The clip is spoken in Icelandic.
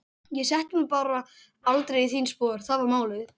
Ég setti mig bara aldrei í þín spor, það var málið.